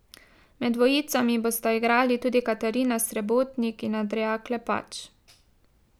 Med dvojicami bosta igrali tudi Katarina Srebotnik in Andreja Klepač.